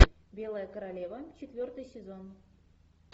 белая королева четвертый сезон